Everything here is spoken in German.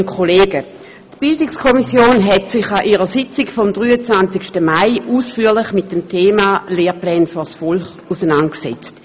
der BiK. Die BiK hat sich an ihrer Sitzung vom 23. Mai ausführlich mit dem Thema «Lehrpläne vors Volk!» auseinandergesetzt.